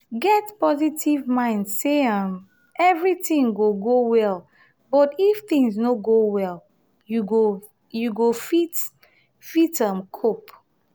get positive mind sey um everything go go well but if thing no go well you go fit fit um cope